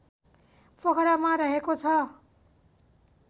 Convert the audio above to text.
पोखरामा रहेको छ